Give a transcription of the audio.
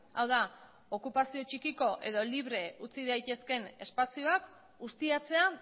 hau da okupazio txikiko edo libre utzi daitezkeen espazioak ustiatzea